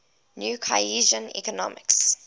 new keynesian economics